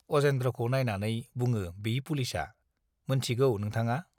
अजेन्द्रखौ नाइनानै बुङो बि पुलिसआ, मोनथिगौ नोंथाङा?